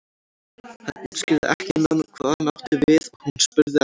Hann útskýrði ekki nánar hvað hann átti við og hún spurði ekki.